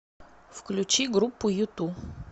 включи группу юту